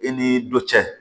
I ni dɔ cɛ